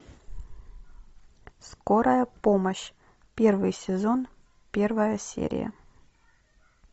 скорая помощь первый сезон первая серия